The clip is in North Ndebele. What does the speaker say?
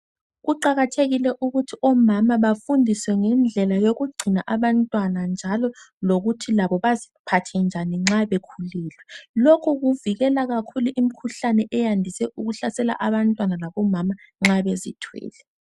Kuqakathekile ukuthi omama bafundiswe ngendlela yokugcina abantwana njalo lokuthi labo baziphathe njani nxa bekhulile. Lokhu kuvikela kakhulu imkhuhlane eyandise ukuhlasela abantwana labomama kakhulu nxa bezithwele.